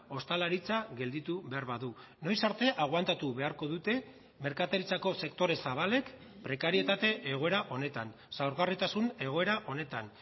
ostalaritza gelditu behar badu noiz arte aguantatu beharko dute merkataritzako sektore zabalek prekarietate egoera honetan zaurgarritasun egoera honetan